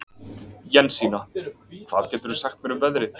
Jensína, hvað geturðu sagt mér um veðrið?